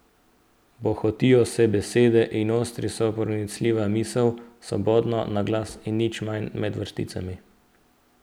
Bohotijo se besede in ostri se pronicljiva misel, svobodno na glas in nič manj med vrsticami ...